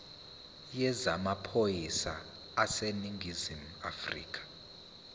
yezamaphoyisa aseningizimu afrika